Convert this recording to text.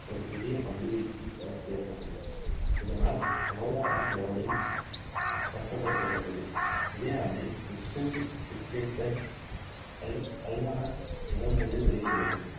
ஒரு புதிய பந்து வீச்சு புரட்சி ஏற்பட்டது இதனால் over arm bowling சட்டப்படுத்தப்பட்டது இதே ஆண்டில் Wisden Cricketers' Almanack முதன் முதலில் வெளிவந்தது